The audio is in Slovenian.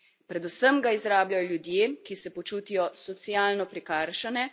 Predvsem ga izrabljajo ljudje, ki se počutijo socialno prikrajšane.